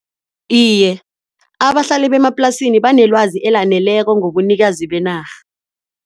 Iye, abahlali bemaplasini banelwazi elaneleko ngobunikazi benarha.